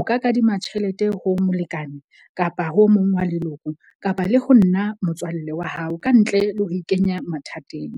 O ka kadima tjhelete ho molekane kapa ho o mong wa leloko kapa le ho nna motswalle wa hao, ka ntle le ho ikenya mathateng.